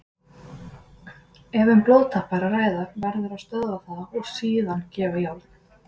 Ef um blóðtap er að ræða verður að stöðva það og síðan gefa járn.